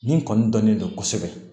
Nin kɔni dɔnnen don kosɛbɛ